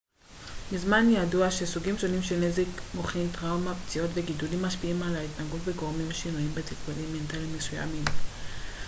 מזמן ידוע שסוגים שונים של נזק מוחי טראומה פציעות וגידולים משפיעים על התנהגות וגורמים שינויים בתפקודים מנטליים מסוימים